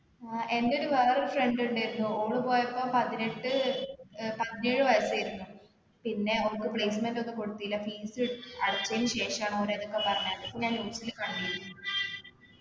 അഹ് എൻ്റെ ഒരു വേറൊര് friend ഇണ്ടായിരുന്നു ഓള് പോയപ്പൊ പതിനെട്ട് ഏർ പതിനേഴ് വയസ്സായിരുന്നു പിന്നെ ഓൾക്ക് placement ഒന്നും കൊടുത്തീല fees അടിച്ചതിന് ശേഷാണ് ഓര് ഇതൊക്കെ പറഞ്ഞെ ഇത് ഞാൻ news ല് കണ്ടീരുന്നു